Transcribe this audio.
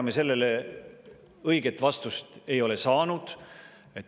Ega me sellele õiget vastust ei ole saanud.